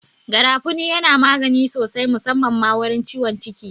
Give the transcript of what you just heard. Garafuni yana magani sosai musamman ma wurin ciwon ciki